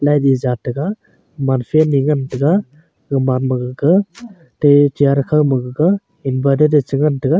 naidi jat tega man fan ae ngan taega zomgmam gaga te chair khao ma gaga inverter ae che ngan taega.